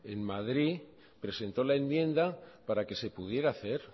en madrid presentó la enmienda para que se pudiera hacer